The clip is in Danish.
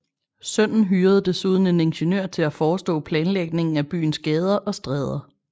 Sønnen hyrede desuden en ingeniør til at forestå planlægningen af byens gader og stræder